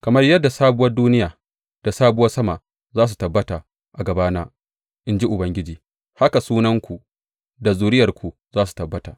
Kamar yadda sabuwar duniya da sabuwar sama za su tabbata a gabana, in ji Ubangiji, haka sunanku da zuriyarku za su tabbata.